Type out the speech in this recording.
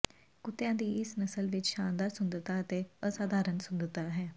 ਕੁੱਤਿਆਂ ਦੀ ਇਸ ਨਸਲ ਵਿੱਚ ਸ਼ਾਨਦਾਰ ਸੁੰਦਰਤਾ ਅਤੇ ਅਸਾਧਾਰਣ ਸੁੰਦਰਤਾ ਹੈ